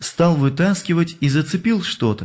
стал вытаскивать и зацепил что-то